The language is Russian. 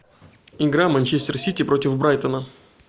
игра манчестер сити против брайтона